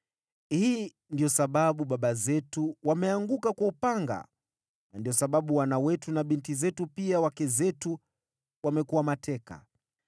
Hii ndiyo sababu baba zetu wameanguka kwa upanga na ndiyo sababu wana wetu na binti zetu, pia wake zetu wamekuwa mateka.